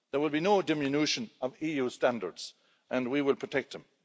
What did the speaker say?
There will be no diminution of EU standards, and we will protect them.